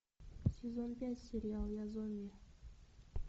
сезон пять сериал я зомби